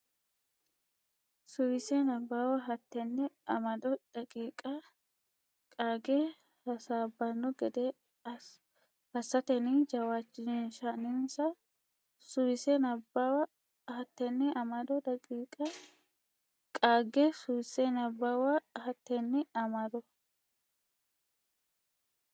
Suwise Nabbawa Hattenne amado daqiiqa qaagge hasaabbanno gede assatenni jawaachishinsa Suwise Nabbawa Hattenne amado daqiiqa qaagge Suwise Nabbawa Hattenne amado.